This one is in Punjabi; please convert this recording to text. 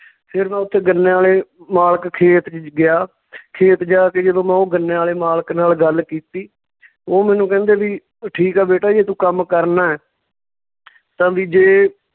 ਫਿਰ ਮੈਂ ਉੱਥੇ ਗੰਨਿਆਂ ਵਾਲੇ ਮਾਲਕ ਖੇਤ ਵਿੱਚ ਗਿਆ ਖੇਤ ਜਾ ਕੇ ਜਦੋਂ ਮੈਂ ਉਹ ਗੰਨਿਆਂ ਵਾਲੇ ਮਾਲਕ ਨਾਲ ਗੱਲ ਕੀਤੀ ਉਹ ਮੈਨੂੰ ਕਹਿੰਦੇ ਵੀ ਠੀਕ ਆ ਬੇਟਾ ਜੇ ਤੂੰ ਕੰਮ ਕਰਨਾ ਤਾਂ ਵੀ ਜੇ